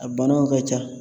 A banaw ka ca.